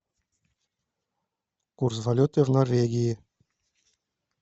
курс валюты в норвегии